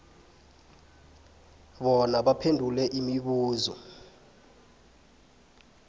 bona baphendule imibuzo